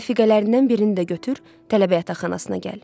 Rəfiqələrindən birini də götür, tələbə yataqxanasına gəl.